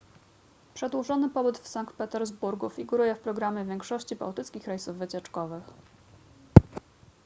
przedłużony pobyt w sankt petersburgu figuruje w programie większości bałtyckich rejsów wycieczkowych